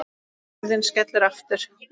Hurðin skellur aftur.